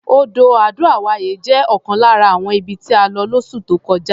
Odò Ado-Away jẹ́ ọ̀kan lára àwọn ibi tí a lọ lóṣù tó kọjá.